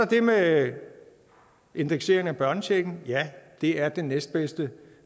det med indekseringen af børnechecken ja det er den næstbedste